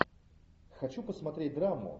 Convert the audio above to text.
хочу посмотреть драму